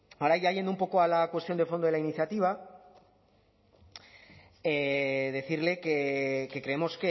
ahora ya yendo un poco a la cuestión de fondo de la iniciativa decirle que creemos